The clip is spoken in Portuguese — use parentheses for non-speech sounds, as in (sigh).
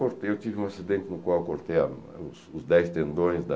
(unintelligible) Eu tive um acidente no qual eu cortei a os os dez tendões da...